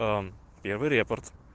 первый репорт